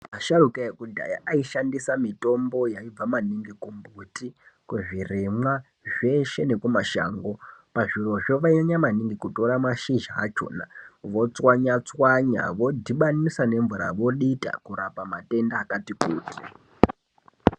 Asharuka ekudhaya aishandisa mitombo yaibva maningi kumbuti kuzvirimwa zveshe nekumashango pazvirozvo vainyanya maningi kutora mashizha achona votswanyatswanya vodhibanisa nemvura vodita kurapa matenda akati kuti.